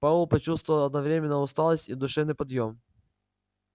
пауэлл почувствовал одновременно усталость и душевный подъем